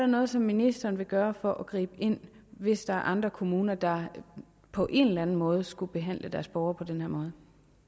noget som ministeren vil gøre for at gribe ind hvis der er andre kommuner der på en eller anden måde skulle behandle deres borgere på den her måde